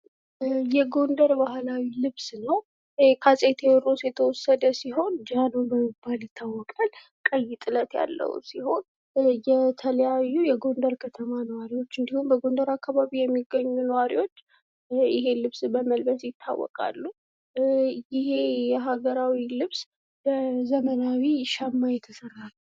የጎንደር ባህላዊ ልብስ ነው ከአፄ ቴዎድሮስ የተወሰደ ሲሆን ጃኖ በመባል ይታወቃል ፤ ቀይ ጥለት ያለው ሲሆን የተለያዩ የጎንደር ከተማ ነዋሪዎች እንዲሁም በጎንደር አካባቢ የሚገኙ ነዋሪዎች ይህን ልብስ በመልበስ ይታወቃሉ። ይሄ የሀገራዊ ልብስ በዘመናዊ ሸማ የተሰራ ነው።